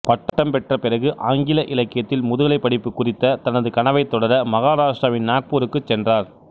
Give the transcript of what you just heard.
பட்டம் பெற்ற பிறகு ஆங்கில இலக்கியத்தில் முதுகலை படிப்பு குறித்த தனது கனவைத் தொடர மகாராட்டிராவின் நாக்பூருக்கு சென்றார்